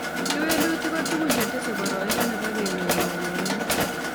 Kewelutic ko tukun che tesei poroindo nepo kenyor mokongiot